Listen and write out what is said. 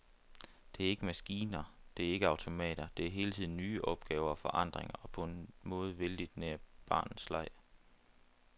Det er ikke maskiner, det er ikke automater, det er hele tiden nye opgaver og forandring og på en måde vældigt nær barnets leg.